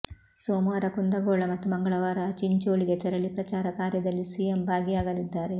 ಸೋಮವಾರ ಕುಂದಗೋಳ ಮತ್ತು ಮಂಗಳವಾರ ಚಿಂಚೋಳಿಗೆ ತೆರಳಿ ಪ್ರಚಾರ ಕಾರ್ಯದಲ್ಲಿ ಸಿಎಂ ಭಾಗಿಯಾಗಲಿದ್ದಾರೆ